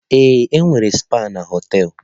Ee, enwere spa na họtel.